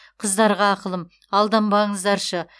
қыздарға ақылым алданбаңыздаршы